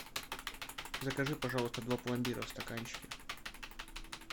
закажи пожалуйста два пломбира в стаканчике